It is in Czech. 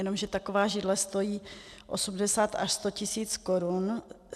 Jenomže taková židle stojí 80 až 100 tisíc korun.